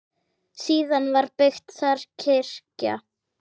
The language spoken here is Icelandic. Síðar var byggð þar kirkja.